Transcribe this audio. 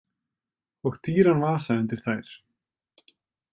Og dýran vasa undir þær.